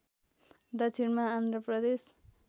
दक्षिणमा आन्ध्र प्रदेश